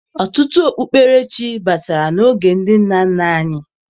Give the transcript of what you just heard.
Ọtụtụ okpukperechi batara n'oge ndị nna nna anyị